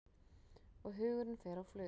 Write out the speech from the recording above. Og hugurinn fer á flug.